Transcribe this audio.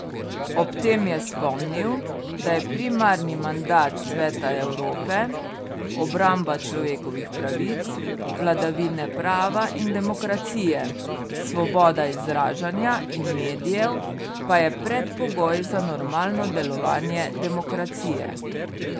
Ob tem je spomnil, da je primarni mandat Sveta Evrope obramba človekovih pravic, vladavine prava in demokracije, svoboda izražanja in medijev pa je predpogoj za normalno delovanje demokracije.